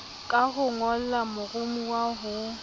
ka ho ngolla moromowa ho